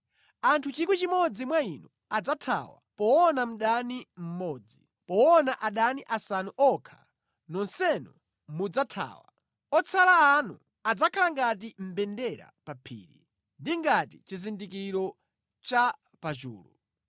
Anthu 1,000 mwa inu adzathawa poona mdani mmodzi; poona adani asanu okha nonsenu mudzathawa. Otsala anu adzakhala ngati mbendera pa phiri, ndi ngati chizindikiro cha pa chulu.”